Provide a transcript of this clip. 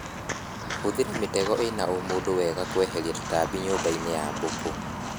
Hũthĩra mĩtego ĩna ũmũndũ wenda kweheria tũtambi nyũmbainĩ ya mbũkũ